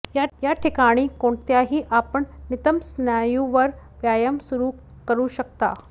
या ठिकाणी कोणत्याही आपण नितंब स्नायू वर व्यायाम सुरू करू शकता